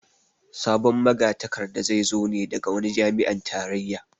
Sabon magatakarda zai zo ne daga wani jami'an tarayya